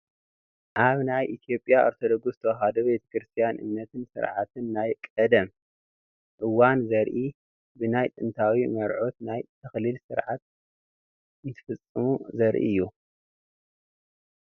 ኣብ ናይ ኢ/ያ ኦርቶዶክስ ተዋህዶ ቤተ ክርስትያን እምነትን ስርዓትን ናይ ቀደም እዋን ዘርኢ ብናይ ጥንታዊ መርዑት ናይ ተክሊል ስርዓት እንትፍፅሙ ዘርኢ እዩ፡፡